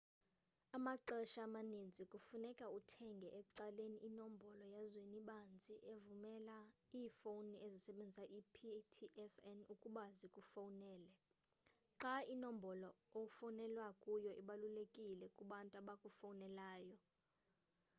amaxesha amaninzi kufuneka uthenge ecaleni inombolo yazwenibanzi evumela iifowuni ezisebenzisa i-ptsn ukuba zikufowunele xa inombolo ofowunelwa kuyo ibalulekile kubantu abakufowunelayo